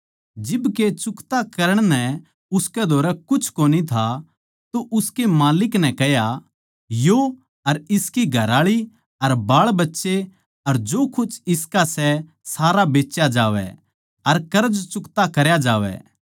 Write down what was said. जिब के चुकता करण नै उसकै धोरै कुछ कोनी था तो उसकै माल्लिक नै कह्या यो अर इसकी घरआळी अर बाळबच्चे अर जो कुछ इसका सै सारा बेच्या जावै अर कर्ज चुकता करया जावै